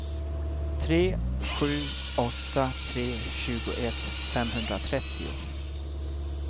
tre sju åtta tre tjugoett femhundratrettio